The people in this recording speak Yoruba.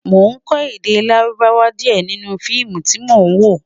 mọ kò èdè lárùbáwá diẹ nínú feemu tí mọ wo